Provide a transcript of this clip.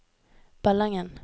Ballangen